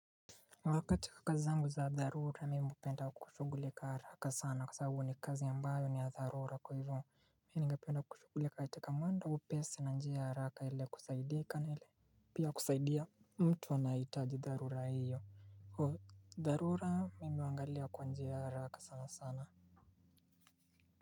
Wakati wa kazi zangu za dharura mimi hupenda kushughulika haraka sana kwa sababu ni kazi ambayo ni ya dharura kwa hivo ningependa kushughulika hata kama ndio upesi na njia haraka ile kusaidika ile pia kusaidia. Mtu anayehitaji dharura hiyo dharura mimi huangalia kwa njia ya haraka sana sana.